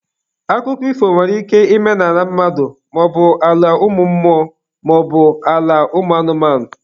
Akụkọ ifo nwere ike ịme n'ala mmadụ maọbu ala mmụọ maọbụ ala ụmụ anụmanụ.